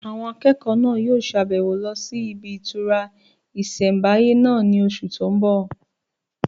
Àwọn akẹ́kọ̀ọ́ náà yóò ṣe àbẹ̀wò lọ sí ibi ìtura ìsẹ̀mbáyé náà ní oṣù tó n bọ̀